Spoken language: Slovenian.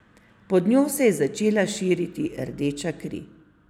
Pod njo se je začela širiti rdeča kri.